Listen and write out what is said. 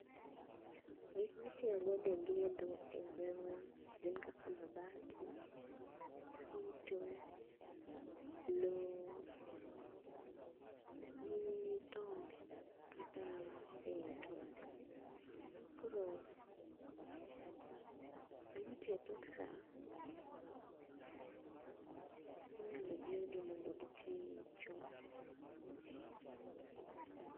Gikma itiyo godo e gedo e gwengwa gin kaka mabati, fito, loo gi tonde kata eeh tonde. Koro jomatiyo e tok saa inyalo jiwgi mondo gitii chon